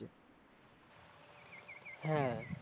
হ্যাঁ